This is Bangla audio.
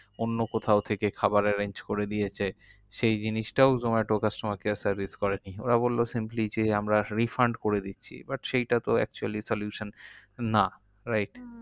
অন্য কোথাও থেকে খাবারের arrange করে দিয়েছে। সেই জিনিসটাও zomatocustomer care service করেনি। ওরা বললো simply যে আমরা refund করে দিচ্ছি। but সেইটা তো actually solution না, right? হম